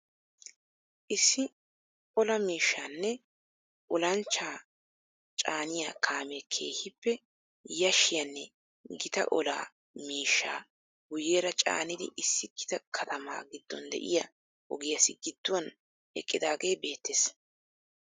Issi ola miishshaanne olanchcha caaniya kaamee keehippe yaashshiyaanne gita ola miishshaa guyyeera caanidi issi gita katamaa giddon de"iyaa ogiyaassi gidduwaan eqqidaagee beettes.